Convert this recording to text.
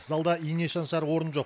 залда ине шаншар орын жоқ